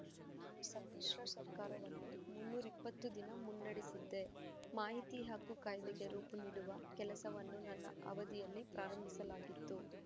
ನಾನು ಸಮ್ಮಿಶ್ರ ಸರ್ಕಾರವನ್ನು ಮುನ್ನೂರ ಇಪ್ಪತ್ತು ದಿನ ಮುನ್ನಡೆಸಿದ್ದೆ ಮಾಹಿತಿ ಹಕ್ಕು ಕಾಯ್ದೆಗೆ ರೂಪು ನೀಡುವ ಕೆಲಸವನ್ನು ನನ್ನ ಅವಧಿಯಲ್ಲಿ ಪ್ರಾರಂಭಿಸಲಾಗಿತ್ತು